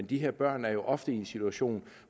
de her børn er jo ofte i en situation